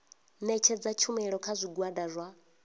ṋetshedza tshumelo kha zwigwada zwa